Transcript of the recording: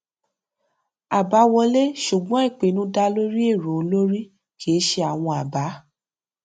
àbá wọlé ṣùgbọn ìpinnu dá lórí èrò olórí kì í ṣe àwọn abá